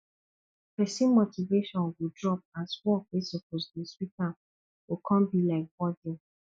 pesin motivation go drop as work wey soppose dey sweet am go con bi like burden